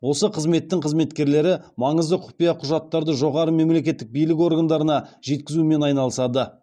осы қызметтің қызметкерлері маңызды құпия құжаттарды жоғары мемлекеттік билік органдарына жеткізумен айналысады